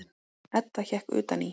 Edda hékk utan í.